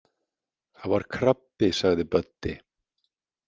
Það var krabbi sagði Böddi.